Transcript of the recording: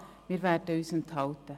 Wir werden uns enthalten.